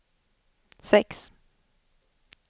sex